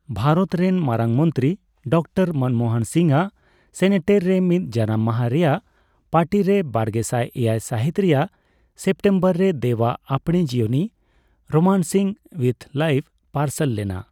ᱵᱷᱟᱨᱚᱛ ᱨᱮᱱ ᱢᱟᱨᱟᱝ ᱢᱚᱱᱛᱨᱤ ᱰᱟᱠᱛᱟᱨ ᱢᱚᱱᱢᱳᱦᱚᱱ ᱥᱤᱝᱦᱚ ᱟᱜ ᱥᱮᱱᱮᱴᱮᱨ ᱨᱮ ᱢᱤᱫ ᱡᱟᱱᱟᱢ ᱢᱟᱦᱟ ᱨᱮᱭᱟᱜ ᱯᱟᱨᱴᱤᱨᱮ ᱵᱟᱨᱜᱮᱥᱟᱭ ᱮᱭᱟᱭ ᱥᱟᱹᱦᱤᱛ ᱨᱮᱭᱟᱜ ᱥᱮᱯᱴᱮᱢᱵᱚᱨ ᱨᱮ ᱫᱮᱹᱵᱽ ᱟᱜ ᱟᱯᱬᱮ ᱡᱤᱭᱚᱱᱤ 'ᱨᱳᱢᱟᱱᱥᱤᱝ ᱩᱭᱤᱛᱷ ᱞᱟᱭᱤᱯᱷ' ᱯᱟᱨᱥᱟᱞ ᱞᱮᱱᱟ ᱾